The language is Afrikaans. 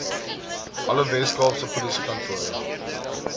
alle weskaapse polisiekantore